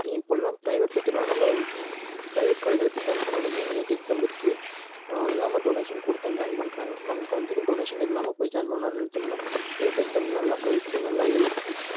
இப்பல்லாம் private sector லாம் நம்மள private college ல போய் join பண்ணாலுமே neet exam இருக்கு அதில்லாம donation கொடுத்து தான் join பண்றாங்க நமக்கு வந்து donation இல்லாம போய் join பண்ணனும்னு நெனச்சோம்னா neet exam நல்லா படிச்சு நல்லா எழுதி